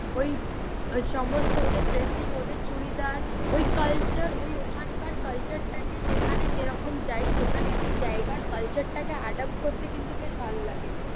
ওই সমস্ত ওদের ড্রেসিং ওদের চুড়িদার, ওই culture ওই ওখানকার culture টাকে যেখানে যেরকম যায় সেখানে সেই জায়গার culture টাকে adopt করতে কিন্তু বেশ ভালো লাগে।